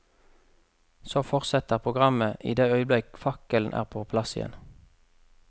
Så fortsetter programmet i det øyeblikk fakkelen er på plass igjen.